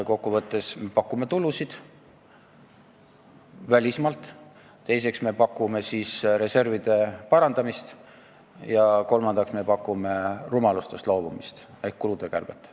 Kokku võttes pakume esiteks tulusid välismaalt, teiseks reservide parandamist ja kolmandaks rumalustest loobumist ehk kulude kärbet.